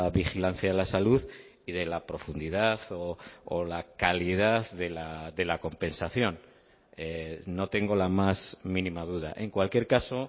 vigilancia a la salud y de la profundidad o la calidad de la compensación no tengo la más mínima duda en cualquier caso